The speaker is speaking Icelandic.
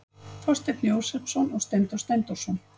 þorsteinn jósepsson og steindór steindórsson